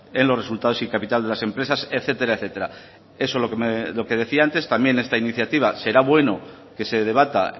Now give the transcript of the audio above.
en los resultados y capital de las empresas etcétera etcétera eso lo que decía antes también esta iniciativa será bueno que se debata